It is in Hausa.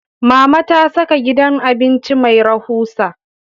Mama ta saka gidan abinci mai rahusa